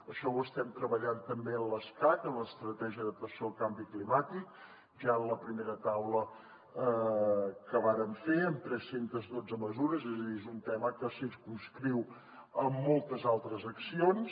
això ho estem treballant també en l’escacc en l’estratègia d’adaptació al canvi climàtic ja en la primera taula que vàrem fer amb tres cents i dotze mesures és a dir és un tema que circumscriu moltes altres accions